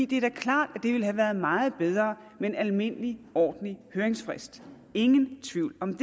det er klart at det ville have været meget bedre med en almindelig ordentlig høringsfrist ingen tvivl om